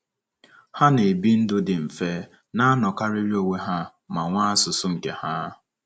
Ha na - ebi ndụ dị mfe, na - anọkarịrị onwe ha, ma nwee asụsụ nke ha.